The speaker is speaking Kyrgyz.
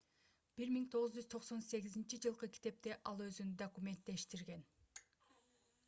1998-жылкы китепте ал өзүн документтештирген